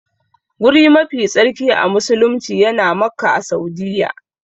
Guri mafi tsarki a musulumci yana Makka a Saudiyya.